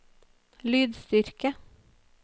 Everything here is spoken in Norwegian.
lydstyrke